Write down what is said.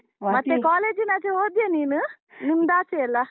ಮತ್ತೆ college ನಾಚೆ ಹೋದ್ಯ ನೀನು? ನಿಮ್ದಾಚೆಯೆ ಅಲಾ?